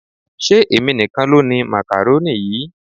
Ṣé èmi nìkan ló ni makaroni yìí?